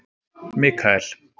Mikael